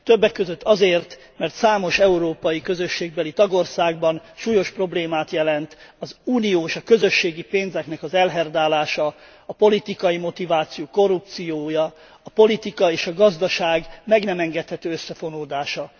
Többek között azért, mert számos európai közösségbeli tagországban súlyos problémát jelent az uniós és a közösségi pénzeknek az elherdálása, a politikai motivációjú korrupció, a politika és a gazdaság meg nem engedhető összefonódása.